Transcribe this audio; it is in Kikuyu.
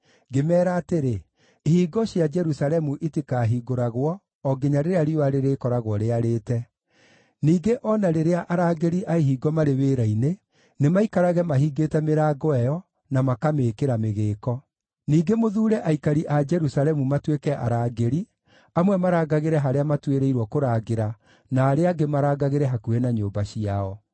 Ngĩmeera atĩrĩ, “Ihingo cia Jerusalemu itikahingũragwo, o nginya rĩrĩa riũa rĩrĩkoragwo rĩarĩte. Ningĩ o na rĩrĩa arangĩri a ihingo marĩ wĩra-inĩ, nĩmaikarage mahingĩte mĩrango ĩyo, na makamĩĩkĩra mĩgĩĩko. Ningĩ mũthuure aikari a Jerusalemu matuĩke arangĩri, amwe marangagĩre harĩa matuĩrĩirwo kũrangĩra, na arĩa angĩ marangagĩre hakuhĩ na nyũmba ciao.”